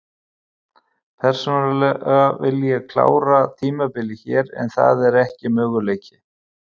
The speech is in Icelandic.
Persónulega vil ég klára tímabilið hér en það er ekki möguleiki.